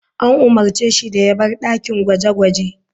An umarce shi da ya bar dakin gwaje-gwaje.